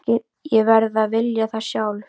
Ég verð að vilja það sjálf.